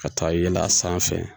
Ka taa yɛlɛn a sanfɛ